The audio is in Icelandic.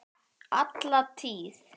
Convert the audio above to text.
Alla tíð.